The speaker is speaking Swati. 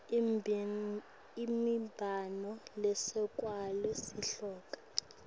imibono lesekela sihloko